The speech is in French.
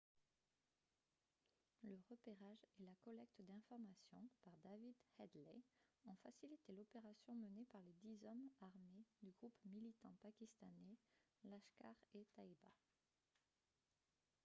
le repérage et la collecte d'informations par david headley ont facilité l'opération menée par les dix hommes armés du groupe militant pakistanais laskhar-e-taiba